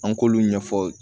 An k'olu ɲɛfɔ